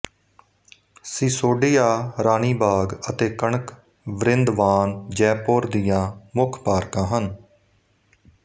ਸੀਸੋਡਿਆ ਰਾਨੀ ਬਾਗ਼ ਅਤੇ ਕਣਕ ਵ੍ਰਿੰਦਵਾਨ ਜੈਪੁਰ ਦੀਆ ਮੁੱਖ ਪਾਰਕਾਂ ਹਨ